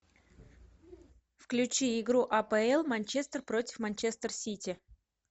включи игру апл манчестер против манчестер сити